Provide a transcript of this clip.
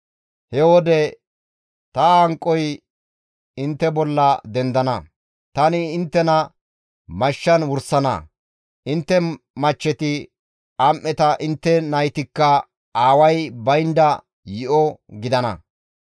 he wode ta hanqoy intte bolla dendana; tani inttena mashshan wursana; intte machcheti am7eta intte naytikka aaway baynda yi7o nayta gidana.